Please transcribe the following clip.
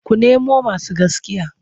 Ku nemo masu gaskiya!